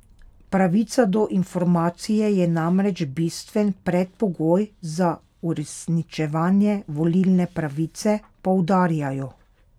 Pravica do informacije je namreč bistven predpogoj za uresničevanje volilne pravice, poudarjajo.